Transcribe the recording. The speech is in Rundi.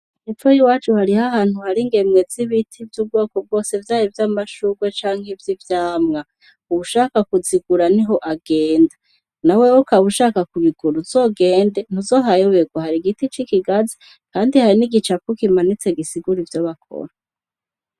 Hepfo y'iwacu hariho ahantu hari ingemwe z'ibiti vy'ubwoko bwose vyaba vy'amashugwe canke ivy'ivyamwa. Uwushaka kuzigura niho agenda. Nawewe ukaba ushaka kuzigura uzogende ntuzohayoberwa, hari igiti cikigazi kandi hari n'igicapo kimanitse gisigura ivyo bakora.